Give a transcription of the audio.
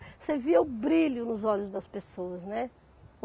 Você via o brilho nos olhos das pessoas, né?